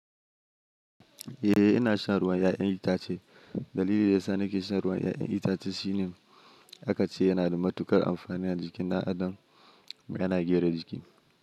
Eh ina shan ruwan 'ya'yan itace. Dalili da yasa nake shan ruwan 'ya'yan itace shine akace yana da matuƙar amfani a jiki. Dan adam yana gyara jiki.